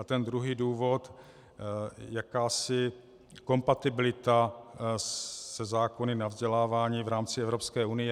A ten druhý důvod - jakási kompatibilita se zákony o vzdělávání v rámci Evropské unie.